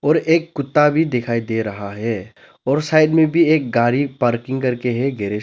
और एक कुत्ता भी दिखाई दे रहा है और साइड में भी एक गाड़ी पार्किंग करके है गैरेज --